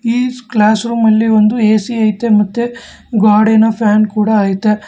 ಈ ಕ್ಲಾಸ್ ರೂಮಲ್ಲಿ ಒಂದು ಎ_ಸಿ ಐತೆ ಮತ್ತೆ ಗ್ವಾಡಿನ ಫ್ಯಾನ್ ಐತೆ.